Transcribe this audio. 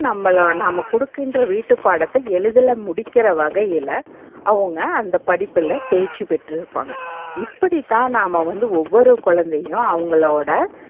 நம்மளோ நாம்ம கொடுக்கின்ற வீட்டுபாடத்த எழுதி முடிக்கிற வகையில அவங்க அந்த படிப்புல தேர்ச்சி பெற்றிருப்பாங்க. இப்பிடித்தான் நாம்ம வந்து ஒவ்வொரு கொழந்தையையும் அவங்களோட,